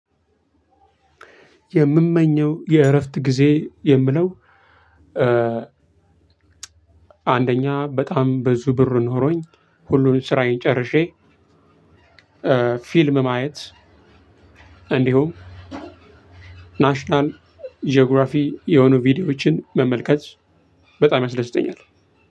የምመኘው የእረፍት ጊዜ የምለው አንደኛ በጣም ብዙ ብር ኖሮኝ ሁሉን ስራዬን ጨርሼ ፊልም ማየት እንዲሁም ናሽናል ጂኦግራፊ የሆኑ ቪዲዮዎችን መመልከት በጣም ያስረድተኛል።